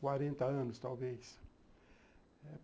Quarenta anos, talvez.